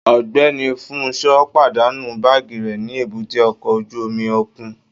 Ọgbẹni Funsho padanu baagi rẹ ni èbúté ọkọ ojú omi okun